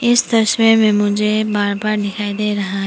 इस तस्वीर में मुझे बार्बर दिखाई दे रहा है।